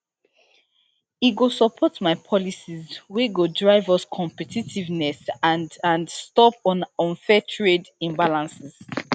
e go support my policies wey go drive us competitiveness and and stop unfair trade imbalances